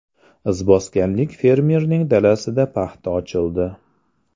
Izboskanlik fermerning dalasida paxta ochildi.